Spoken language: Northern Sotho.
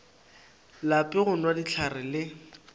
lape go nwa dihlare le